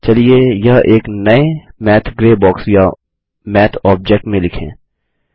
चलिए यह एक नये मैथ ग्रे बॉक्स या मैथ ऑब्जेक्ट में लिखें